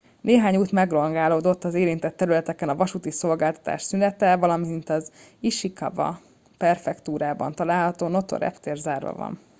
néhány út megrongálódott az érintett területeken a vasúti szolgáltatás szünetel valamint az ishikawa prefektúrában található noto reptér zárva van